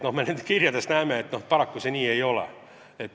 Ja nendest kirjadest me näeme, et paraku see nii ei ole.